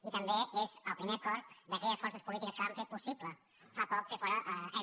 i també és el primer acord d’aquelles forces polítiques que vam fer possible fa poc fer fora m